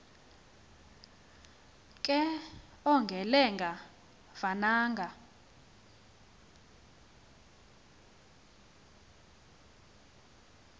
ke ongelenga vananga